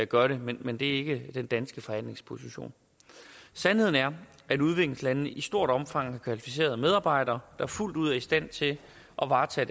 gør det men det er ikke den danske forhandlingsposition sandheden er at udviklingslandene i stort omfang har kvalificerede medarbejdere der fuldt ud er i stand til at varetage